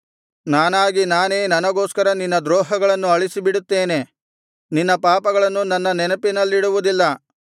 ನಾನಾಗಿ ನಾನೇ ನನಗೋಸ್ಕರ ನಿನ್ನ ದ್ರೋಹಗಳನ್ನು ಅಳಿಸಿ ಬಿಡುತ್ತೇನೆ ನಿನ್ನ ಪಾಪಗಳನ್ನು ನನ್ನ ನೆನಪಿನಲ್ಲಿಡುವುದಿಲ್ಲ